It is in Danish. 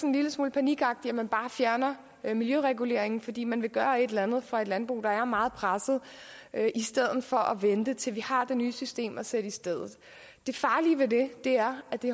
en lille smule panikagtigt at man bare fjerner miljøreguleringen fordi man vil gøre et eller andet for et landbrug der er meget presset i stedet for at vente til vi har det nye system at sætte i stedet det farlige ved det er at det